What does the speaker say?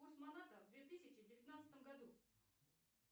курс маната в две тысячи девятнадцатом году